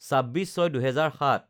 ২৬/০৬/২০০৭